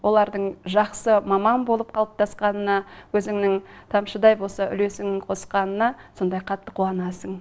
олардың жақсы маман болып қалыптасқанына өзіңнің тамшыдай болса да үлесіңді қосқаныңа сондай қатты қуанасың